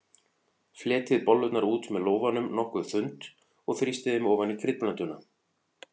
Fletjið bollurnar út með lófanum nokkuð þunnt og þrýstið þeim ofan í kryddblönduna.